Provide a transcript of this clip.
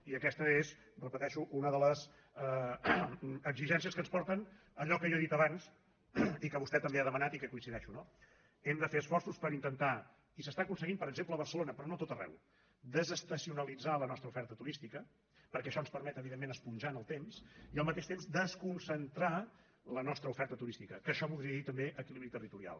i aquesta és ho repeteixo una de les exigències que ens porten a allò que jo he dit abans i que vostè també ha demanat i que hi coincideixo no hem de fer esforços per intentar i s’aconsegueix per exemple a barcelona però no a tot arreu desestacionalitzar la nostra oferta turística perquè això ens permet evidentment esponjar en el temps i al mateix temps desconcentrar la nostra oferta turística que això voldria dir també equilibri territorial